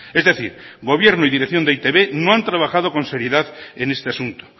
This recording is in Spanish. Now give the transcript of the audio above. es decir gobierno y dirección de e i te be no ha trabajado con seriedad en este asunto